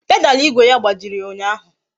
Pedalu igwe ya gbajiri ụnyaahụ